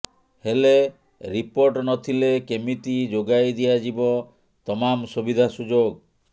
ହେଲେ ରିପୋର୍ଟ ନଥିଲେ କେମିତି ଯୋଗାଇ ଦିଆଯିବ ତମାମ୍ ସୁବିଧା ସୁଯୋଗ